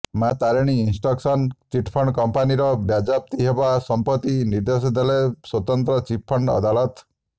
ମାଆ Tarini Eastcon chit fund କମ୍ପାନୀର ବାଜ୍ୟାପ୍ତି ହେବ ସମ୍ପତ୍ତି ନିର୍ଦ୍ଦେଶ ଦେଲେ ସ୍ୱତନ୍ତ୍ର ଚିଟ୍ଫଣ୍ଡ ଅଦାଲତ